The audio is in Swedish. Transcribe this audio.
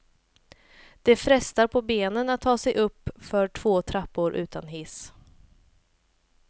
Det frestar på benen att ta sig uppför två trappor utan hiss.